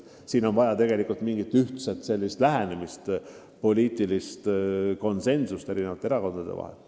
Meil on vaja mingit ühtset lähenemist, poliitilist konsensust eri erakondade vahel.